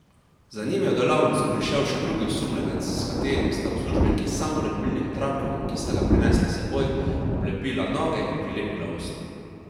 Za njim je v delavnico prišel še drugi osumljenec, s katerim sta uslužbenki s samolepilnim trakom, ki sta ga prinesla s seboj, oblepila noge in prelepila usta.